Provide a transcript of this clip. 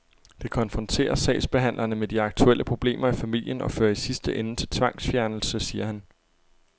Det konfronterer sagsbehandlerne med de aktuelle problemer i familien og fører i sidste ende til tvangsfjernelse, siger han.